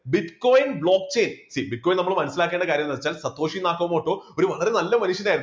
bitcoin block chain ഈ bitcoin നമ്മൾ മനസ്സിലാക്കേണ്ട കാര്യം എന്തെന്ന് വെച്ചാൽ സഒഷിനാകാമോടോ ഒരു വളരെ നല്ല മനുഷ്യനായിരുന്നു.